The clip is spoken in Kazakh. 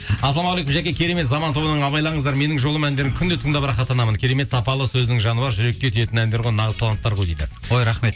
ассалаумағалейкум жаке керемет заман тобының абайлаңыздар менің жолым әндерін күнде тыңдап рахаттанамын керемет сапалы сөзінің жаны бар жүрекке тиетін әндер ғой нағыз таланттар ғой дейді ой рахмет